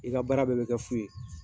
I ka baara bɛɛ bɛ kɛ fu ye